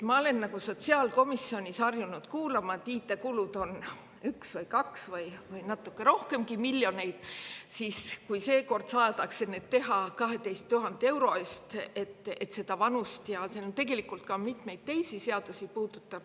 Ma olen sotsiaalkomisjonis harjunud kuulma, et IT-kulud on 1 või 2 miljonit või rohkemgi miljoneid, aga seekord saadakse neid teha 12 000 euro eest, et seda vanuse, ja see puudutab tegelikult ka mitmeid teisi seadusi.